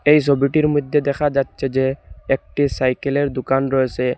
এই ছবিটির মইধ্যে দেখা যাচ্ছে যে একটি সাইকেলের দুকান রয়েসে।